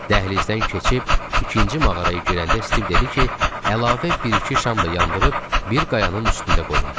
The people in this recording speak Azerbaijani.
Dəhlizdən keçib ikinci mağaraya girəndə Stiv dedi ki, əlavə bir-iki şam da yandırıb bir qayanın üstündə qoyub.